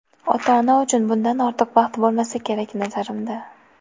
Ota-ona uchun bundan ortiq baxt bo‘lmasa kerak, nazarimda.